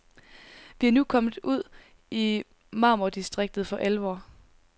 Vi er nu kommet ud i marmordistriktet for alvor.